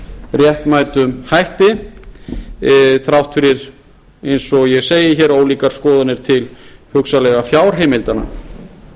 réttmætum hætti þrátt fyrir eins og ég segi hér ólíkar skoðanir til hugsanlega fjárheimildanna